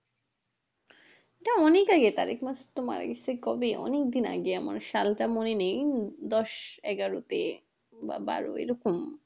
সেটা অনেক আগেকার তারক মাসুদ মারা গাছে কবে অনেক দিন আগে আমার সালটা মনে নেই দশ এগারোতে বা বারো এরকম